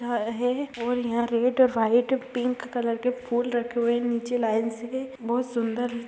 यह है और यहाँ रेड व्हाइट पिंक कलर के फुल रखे हुए नीचे लाइन से बहुत सूंदर --